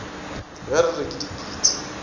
ge re re ke dipitsi